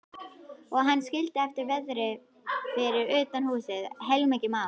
Og hann skildi eftir verði fyrir utan húsið, heilmikið mál.